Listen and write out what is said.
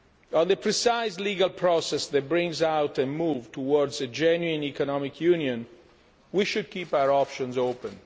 On the precise legal process that brings about a move towards a genuine economic union, we should keep our options